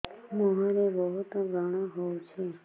ମୁଁହରେ ବହୁତ ବ୍ରଣ ହଉଛି